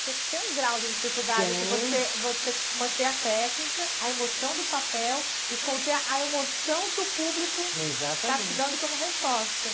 Porque tem um grau de dificuldade se você, você manter a técnica, a emoção do papel e conter a emoção que o público. Exatamente. Está te dando como resposta.